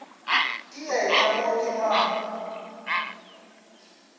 ka yena mo ke mang